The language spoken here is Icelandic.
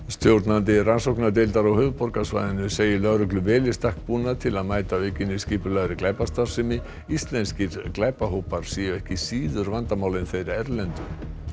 stjórnandi rannsóknardeildar á höfuðborgarsvæðinu segir lögreglu vel í stakk búna til að mæta aukinni skipulagðri glæpastarfsemi íslenskir glæpahópar séu ekki síður vandamál en þeir erlendu